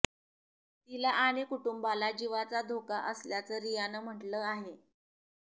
तिला आणि कुटुंबाला जीवाचा धोका असल्याचं रियाने म्हटलं आहे